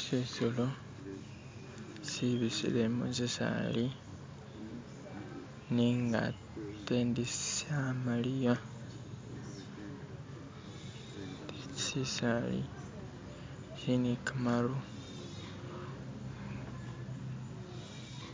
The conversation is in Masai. Shisolo shibisile mushisali nenga ate ndi shamaliya, shisaali shili nigamatu